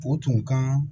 O tun ka